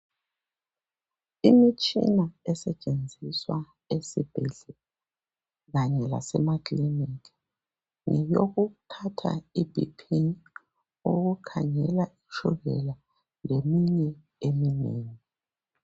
Imitshina esetshenziswa esibhedlela kanye lasemaklinika ngeyokukhatha I BP owokukhangela itshukela leminye eminengi